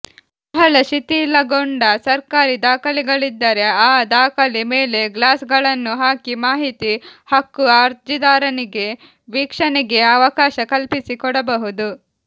ಬಹಳ ಶಿಥಿಲಗೊಂಡ ಸರ್ಕಾರಿ ದಾಖಲೆಗಳಿದ್ದರೆ ಆ ದಾಖಲೆ ಮೇಲೆ ಗ್ಲಾಸ್ಗಳನ್ನು ಹಾಕಿ ಮಾಹಿತಿ ಹಕ್ಕು ಅರ್ಜಿದಾರನಿಗೆ ವೀಕ್ಷಣೆಗೆ ಅವಕಾಶ ಕಲ್ಪಿಸಿಕೊಡಬಹುದು